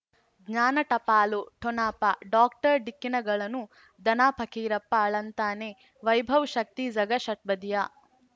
ಜ್ಞಾನ ಟಪಾಲು ಠೊಣಪ ಡಾಕ್ಟರ್ ಢಿಕ್ಕಿ ಣಗಳನು ಧನ ಫಕೀರಪ್ಪ ಳಂತಾನೆ ವೈಭವ್ ಶಕ್ತಿ ಝಗಾ ಷಟ್ಪದಿಯ